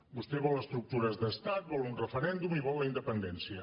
vostè vol estructures d’estat vol un referèndum i vol la independència